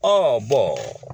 Ɔn